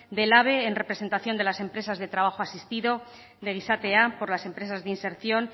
del en representación de las empresas de trabajo asistido de gizatea por las empresas de inserción